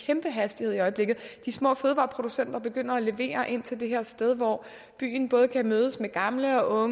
kæmpe hastighed i øjeblikket de små fødevareproducenter begynder at levere ind til det her sted hvor byen både kan mødes med gamle og